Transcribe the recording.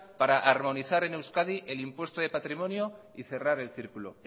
para armonizar en euskadi el impuesto de patrimonio y cerrar el círculo